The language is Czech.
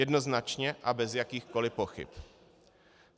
Jednoznačně a bez jakýchkoliv pochyb.